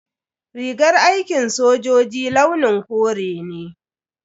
Rigar aikin sojoji launin kore ne.